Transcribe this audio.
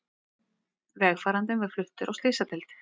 Vegfarandinn var fluttur á slysadeild